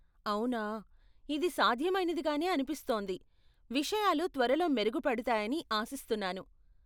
అవునా, ఇది సాధ్యమైనదిగానే అనిపిస్తోంది, విషయాలు త్వరలో మెరుగుపడతాయని ఆశిస్తున్నాను.